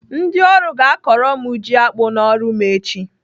Ndị ọrụ ga-akọrọ m ji akpụ n'ọrụ m echi.